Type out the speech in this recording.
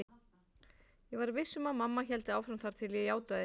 Ég var viss um að mamma héldi áfram þar til ég játaði.